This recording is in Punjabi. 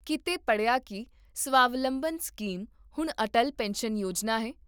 ਕੀਤੇ ਪੜ੍ਹਿਆ ਕੀ ਸਵਾਵਲੰਬਨ ਸਕੀਮ ਹੁਣ ਅਟਲ ਪੈਨਸ਼ਨ ਯੋਜਨਾ ਹੈ?